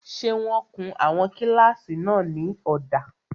Ṣé wọ́n kun àwọn kílásì náà ní ọ̀dà?